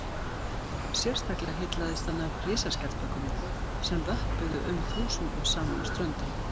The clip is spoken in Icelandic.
sérstaklega heillaðist hann af risaskjaldbökunum sem vöppuðu um þúsundum saman á ströndinni